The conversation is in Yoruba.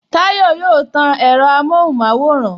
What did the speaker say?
Tayọ yóò tan ẹ̀rọ amohun maworan